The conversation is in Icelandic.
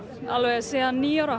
alveg síðan níu ára